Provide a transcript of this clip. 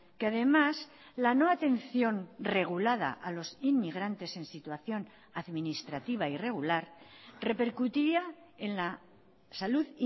que además la no atención regulada a los inmigrantes en situación administrativa irregular repercutiría en la salud